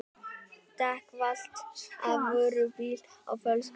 Dekk valt af vörubíl á fólksbíl